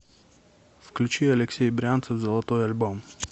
включи алексей брянцев золотой альбом